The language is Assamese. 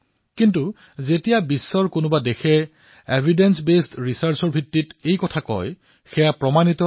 কিন্তু যেতিয়া বিশ্বৰ অন্য দেশে প্ৰমাণভিত্তিক গৱেষণাৰ সৈতে সেই কথাকেই কয় আমাৰ ফৰ্মুলা আমাকেই শিকায় তেতিয়া সেয়া আমি গ্ৰহণ কৰো